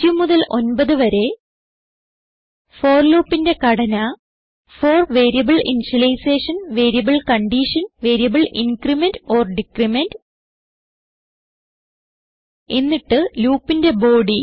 0 മുതൽ 9 വരെ ഫോർ loopന്റെ ഘടന for variable initialisation variable condition variable increment or decrement എന്നിട്ട് loopന്റെ ബോഡി